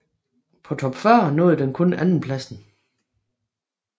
På Top 40 nåede den kun andenpladsen